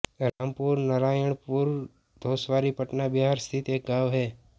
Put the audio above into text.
रामपुरनरायणपुर घोसवारी पटना बिहार स्थित एक गाँव है